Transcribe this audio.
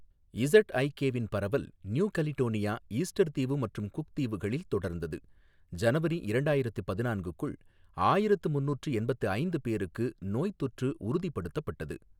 இஸட்ஐகேவின் பரவல் New Caledonia, Easter தீவு மற்றும் குக் தீவுகளில் தொடர்ந்தது. ஜனவரி இரண்டாயிரத்து பதினான்க் குள் ஆயிரத்து முந்நூற்று எண்பத்தி ஐந்து பேருக்கு நோய்த்தொற்று உறுதிப்படுத்தப்பட்டது.